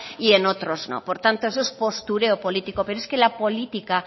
y en otros no por tanto eso es postureo político pero es que la política